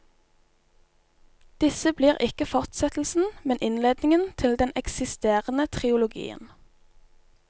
Disse blir ikke forsettelsen, men innledningen til den eksisterende trilogien.